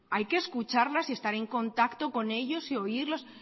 hay que escucharlas y estar en contacto con ellos y oírlos